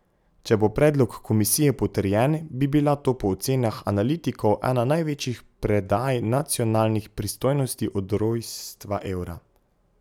Če bo predlog komisije potrjen, bi bila to po ocenah analitikov ena največjih predaj nacionalnih pristojnosti od rojstva evra.